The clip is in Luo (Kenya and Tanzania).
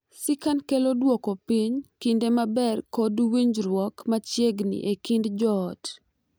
Ccan kelo dwoko piny kinde maber kod winjruok machiegni e kind joot,